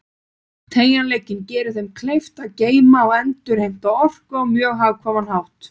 Teygjanleikinn gerir þeim kleift að geyma og endurheimta orku á mjög hagkvæman hátt.